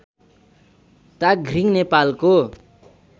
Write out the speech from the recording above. ताघ्रिङ नेपालको